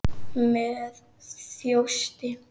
Með þjósti.